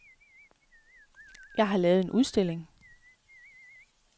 Jeg har lavet en udstilling.